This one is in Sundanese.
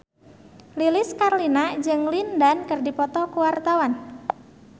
Lilis Karlina jeung Lin Dan keur dipoto ku wartawan